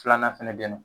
Filanan fɛnɛ bɛ ye nɔ